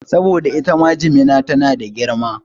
Saboda itama jimina tana da girma